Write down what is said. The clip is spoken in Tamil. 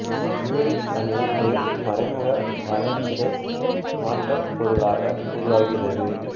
இப்யூரிக் அமிலம் ஒரு மறைமுக வளர்சிதை மாற்றப் பொருளாக உருவாகிறது